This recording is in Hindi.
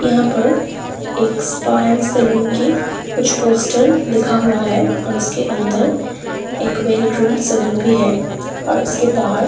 यहाँ पर एक स्पा अण्ड सलून की कुछ पोस्टर लिखा हुआ है और उसके अंदर एक वेल रूम सलून भी है और उसके बाहर --